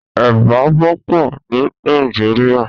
Èbà wòpò ni Nàijiriá